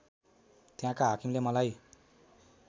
त्यहाँका हाकिमले मलाई